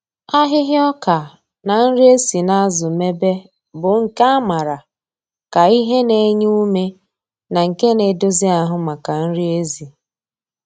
Ahịhịa ọka na nri e si n’azụ mebe bụ nke a maara ka ihe na-enye ume na nke na-edozi ahụ maka nri ezi.